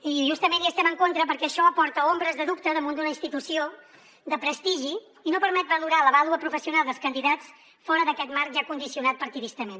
i justament hi estem en contra perquè això aporta ombres de dubte damunt d’una institució de prestigi i no permet valorar la vàlua professional dels candidats fora d’aquest marc ja condicionat partidistament